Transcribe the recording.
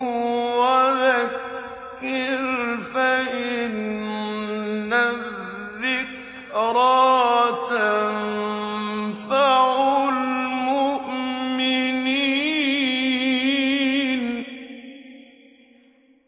وَذَكِّرْ فَإِنَّ الذِّكْرَىٰ تَنفَعُ الْمُؤْمِنِينَ